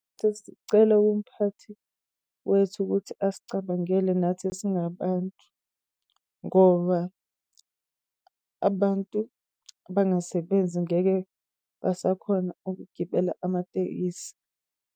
Sesicela umphathi wethu ukuthi asicabangeli nathi esingabantu, ngoba abantu abangasebenzi angeke basakhona ukugibela amatekisi.